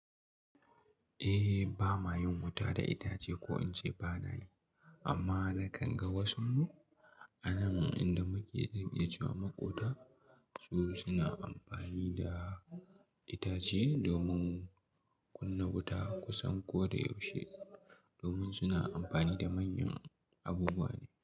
Eh, ba mayen wuta da itace ko in ce ba na yi, amma na kan ga wasu anan inda muke iya cewa maƙota su suna amfani da itace domin kunna wuta kusan ko da yaushe domin suna amfani da manyan abubuwa ne.